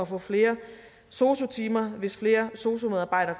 få flere sosu timer hvis flere sosu medarbejdere